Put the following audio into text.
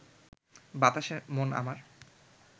বাতাসে মন আমার